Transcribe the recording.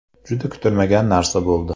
Juda kutilmagan narsa bo‘ldi.